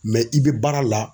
i be baara la